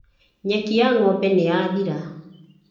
Nyeki ya ng'ombe nĩ yathira.